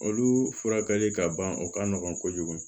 Olu furakɛli ka ban o ka nɔgɔn kojugu